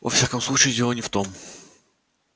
во всяком случае дело не в том